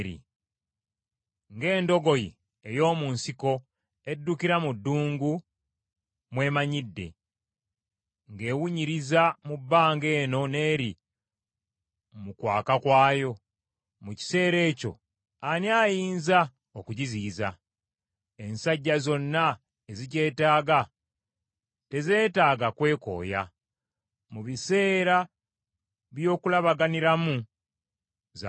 ng’endogoyi ey’omu nsiko eddukira mu ddungu mw’emanyidde, ng’ewunyiriza mu bbanga eno n’eri mu kwaka kwayo, mu kiseera ekyo ani ayinza okugiziyiza? Ensajja zonna ezigyetaaga tezeetaaga kwekooya; mu biseera by’okulabaganiramu za kugifuna.